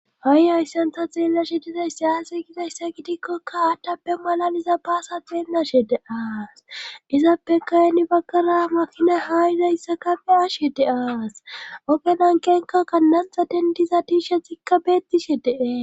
hai ayssantha xeellashe dizays sayase gizayssa gidikkokka aathtappe malaliza baasa xeellashe de aas izappe kayni baggara makina haa izayssa kafe ashhe de aas ogenan kenkakka nanxa dendiza tiisha zikka beettishe dee